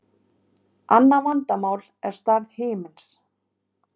Annað vandamál er stærð himinsins.